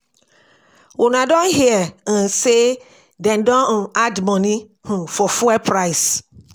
Una don hear um say dey don um add money um for fuel price